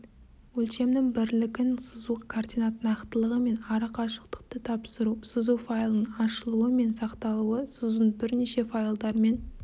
өлшемнің бірлігін сызу координат нақтылығы мен арақашықтықты тапсыру сызу файлының ашылу мен сақталуы сызудың бірнеше файлдарымен